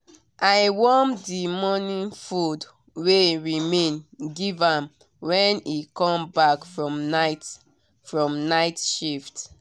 i warm the morning food wey remain give am when e come back from night from night shift